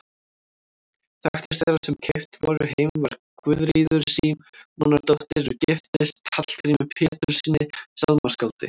Þekktust þeirra sem keypt voru heim var Guðríður Símonardóttir er giftist Hallgrími Péturssyni sálmaskáldi.